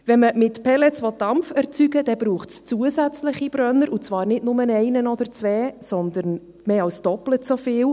Wenn man mit Pellets Dampf erzeugen will, braucht es zusätzliche Brenner, und zwar nicht nur einen oder zwei, sondern mehr als doppelt so viele.